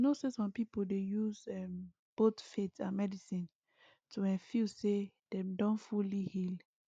you know say some people dey use um both faith and medicine to[um]feel say dem don fully heal